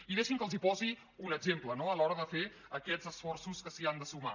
i deixin que els posi un exemple a l’hora de fer aquests esforços que s’hi han de sumar